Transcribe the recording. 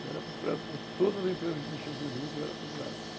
Eu era procurado por todas as empresas que mexiam com juta, eu era procurado.